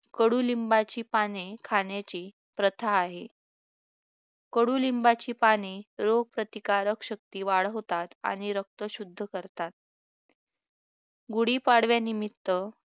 कडुनिंबाची पाने खाण्याची प्रथा आहे कडुनिंबाची पाने रोगप्रतिकारक शक्ती वाढवतात आणि रक्त शुद्ध करतात गुढीपाडव्यानिमित्त